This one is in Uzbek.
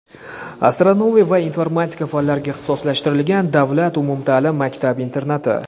astronomiya va informatika fanlariga ixtisoslashtirilgan davlat umumta’lim maktab-internati.